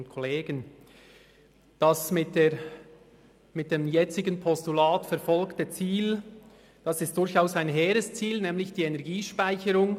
Das mitdem jetzigen Postulat verfolgte Ziel ist durchaus ein hehres Ziel, nämlich die Energiespeicherung.